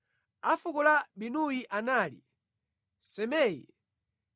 A fuko la Binuyi anali Simei,